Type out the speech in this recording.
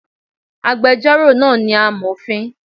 Agbẹjọ́rò náà ni amòfin